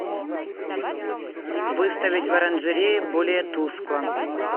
выставить в оранжерее более тускло